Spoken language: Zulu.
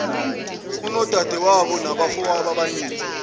unodadewenu nabafowenu abangaki